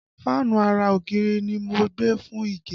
Fáànù ara ògiri ni mo gbé fún Ìgè